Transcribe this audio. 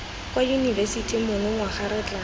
kwa yunibesithing monongwaga re tla